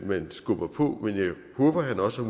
man skubber på men jeg håber han også